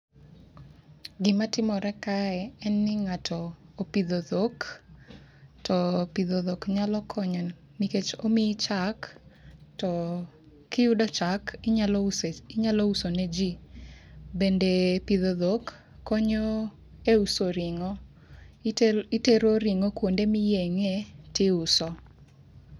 Gima timore kae en ni ng'ato opidho dhok. To pidho dhok nyalo konyo nikech omii chak, to kiyudo chak inyalo use, inyalo uso ne ji. Bende pidho dhok konyo e uso ring'o. Itero ring'o kuonde ma iyeng'e tiuso.